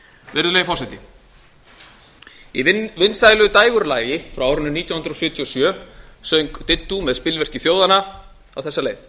virðulegi forseti í vinsælu dægurlagi frá árinu nítján hundruð sjötíu og sjö söng diddú með spilverki þjóðanna á þessa leið